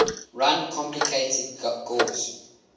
run complicated guis